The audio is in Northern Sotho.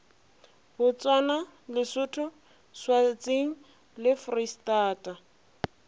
botswana lesotho swatseng le foreistata